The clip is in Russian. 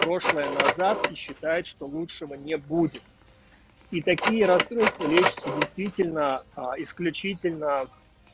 прошлое назад и считает что лучшего не будет и такие расстройства лечится действительно а исключительно